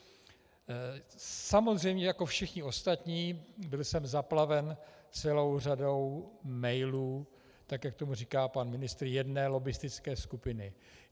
Samozřejmě jako všichni ostatní, byl jsem zaplaven celou řadu emailů, tak jak tomu říká pan ministr, jedné lobbistické skupiny.